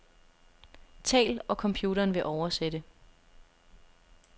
Tal, og computeren vil oversætte.